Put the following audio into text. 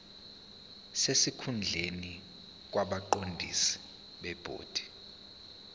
sesikhundleni kwabaqondisi bebhodi